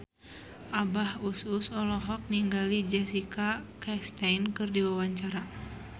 Abah Us Us olohok ningali Jessica Chastain keur diwawancara